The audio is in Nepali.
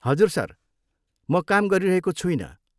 हजुर, सर। म काम गरिरहेको छुइनँ।